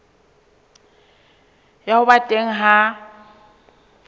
ya ho ba teng ha